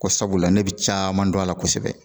Ko sabula ne bɛ caman dɔn a la kosɛbɛ